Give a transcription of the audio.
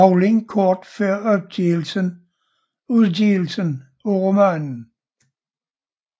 Rowling kort før udgivelsen af romanen